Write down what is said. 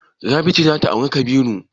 Rabi ce za ta auri Kabiru.